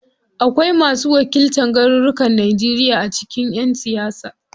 Akwai masu wakiltan garurukan Najeriya a cikin ƴan siyasa.